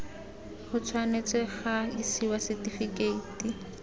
go tshwanetse ga isiwa setifikeiti